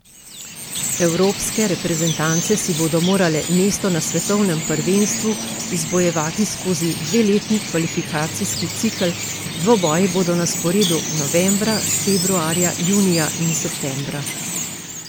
Evropske reprezentance si bodo morale mesto na svetovnem prvenstvu izbojevati skozi dveletni kvalifikacijski cikel, dvoboji bodo na sporedu novembra, februarja, junija in septembra.